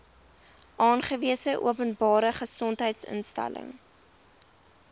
aangewese openbare gesondheidsinstelling